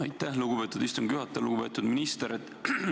Aitäh, lugupeetud istungi juhataja!